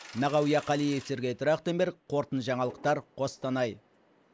мағауия қалиев сергей трахтенберг қорытынды жаңалықтар қостанай